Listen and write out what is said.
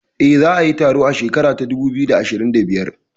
Eh, za a yi taron a shekara ta dubu biyu da ashirin da biyar